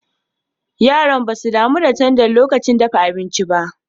Yaran ba su damu da tanda lokacin dafa abinci ba.